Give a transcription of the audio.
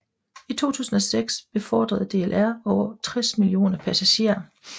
I 2006 befordrede DLR over 60 millioner passagerer